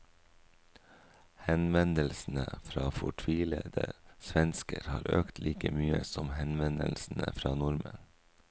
Henvendelsene fra fortvilede svensker har økt like mye som henvendelsene fra nordmenn.